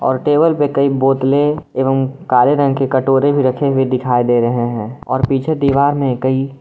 table पर कई बोतले एवं काले रंग के कटोरे भी रखे हुए दिखाई दे रहे हैं और पीछे दीवार में कई--